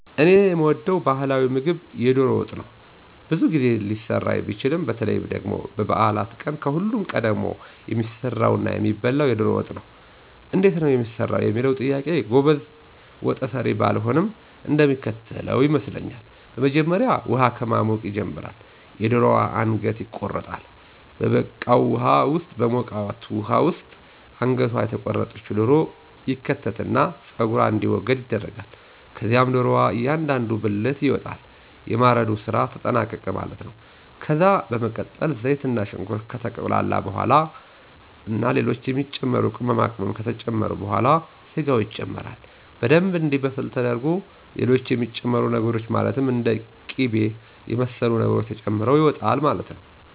እኔ የምወደው ባህላዊ ምግብ የዶሮ ወጥ ነው። ብዙ ጊዜ ሊሰራ ቢችልም በተለይ ደግሞ በበዓላት ቀን ከሁሉም ቀድሞ የሚሰራና የሚበላው የዶሮ ወጥ ነው። እንዴት ነው የሚሰራው ለሚለው ጥያቄ ጎበዝ ወጠሰሪ ባልሆንም እንደሚከተለው ይመስለኛል። በመጀመሪያ ውሃ ከማሞቅ ይጀመራል፤ የደሮዋ አንገት ይቆረጣል፤ በበቃው ውሃ ውስጥ አንገቷ የተቆረጠች ዶሮ ይከተትና ፀጉሯ እንዲወገድ ይደረጋል። ከዛም ዶሮዋ እያንዳንዱ ብልት ይወጣል። የማረዱ ስራ ተጠናቀቀ ማለት ነው። ከዛ በመቀጠል ዘይትና ሽንኩርት ከተቁላላ በኋላ ና ሌሎች የሚጨመሩ ቅመማቅመም ከተጨመረ በኋላ ስጋው ይጨመራል። በደምብ እንዲበስል ተደርጎ ሌሎች የሚጨመሩ ነገሮች ማለትም እንደ ቂበ የመሰሉ ነገሮች ተጨምሮ ይወጣል ማለት ነው።